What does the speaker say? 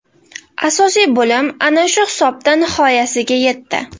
Asosiy bo‘lim ana shu hisobda nihoyasiga yetdi.